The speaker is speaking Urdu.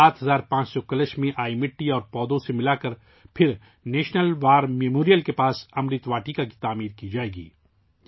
7500 کلش میں آئی مٹی اور پودوں سے ملاکر پھر نیشنل وار میموریل کے قریب 'امرت واٹیکا' کی تعمیر کی جائے گی